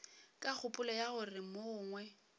ka kgopolo ya gore mogongwe